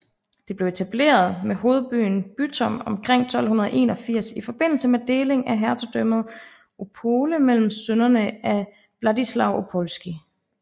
Det blev etableret med hovedbyen Bytom omkring 1281 i forbindelse med delingen af hertugdømmet Opole mellem sønnerne af Władysław Opolski